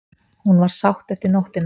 Hún var sátt eftir nóttina.